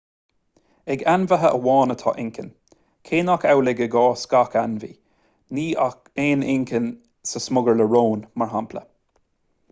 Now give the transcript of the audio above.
ag ainmhithe amháin atá inchinn cé nach amhlaidh i gcás gach ainmhí; ní aon inchinn sa smugairle róin mar shampla